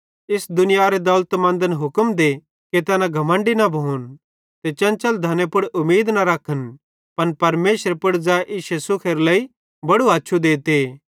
इस दुनियारे दौलतमंदन हुक्म दे कि तैना घमण्डी न भोन ते चंचल धने पुड़ उमीद न रखन पन परमेशरे पुड़ ज़ै इश्शे सुखेरे लेइ बड़ू हछ़्छ़ू देते